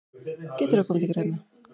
Getur það komið til greina.